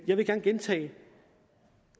jeg vil gerne gentage